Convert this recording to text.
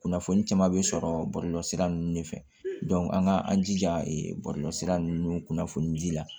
Kunnafoni caman bɛ sɔrɔ bɔlɔlɔ sira ninnu de fɛ an ka an jija bɔlɔlɔsira ninnu kunnafoni ji la